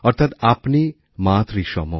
অর্থাৎ আপনি মাতৃসম